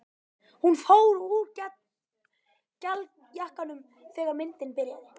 Hún fór úr gallajakkanum þegar myndin byrjaði.